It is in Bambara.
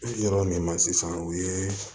Yɔrɔ min na sisan o ye